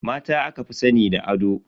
Mata aka fi sani da ado.